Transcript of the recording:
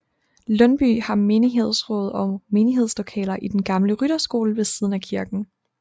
Lundby har menighedsråd og menighedslokaler i den gamle rytterskole ved siden af kirken